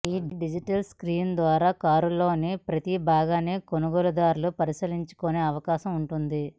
ఈ digital screens ద్వారా కారులోని ప్రతి భాగాన్ని కొనుగోలుదారులు పరిశీలించుకునే అవకాశం ఉంటుంది